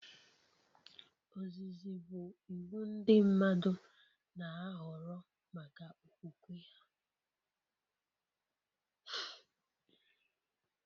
Ozizi bụ iwu ndị mmadụ na-ahọrọ maka okwukwe ha